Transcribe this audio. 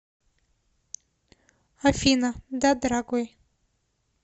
афина да дорогой